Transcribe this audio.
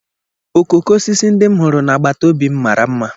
Okooko osisi ndị m hụrụ na agbata obi m mara mma.